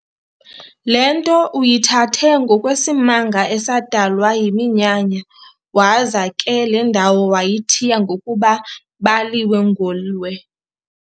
Le nto uyithathe ngokwesimanga esadalwa yiminyanya, waza ke le ndawo wayithiya ngokuba, "Baliwe-Ngoliloe."